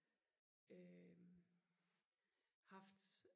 øh haft